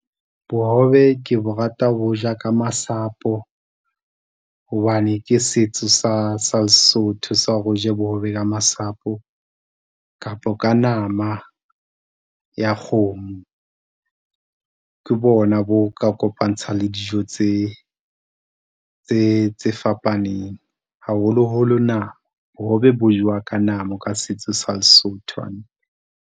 Bohobe ke bo rata ho bo ja ka masapo, hobane ke setso sa, sa Lesotho sa hore o je bohobe ka masapo kapo ka nama ya kgomo. Ke bona bo ka kopantsha le dijo tse, tse, tse fapaneng. Haholoholo nama, bohobe bo jewa ka nama ka setso sa Lesotho hantle.